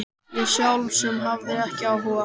Ég sjálf sem hafði ekki áhuga.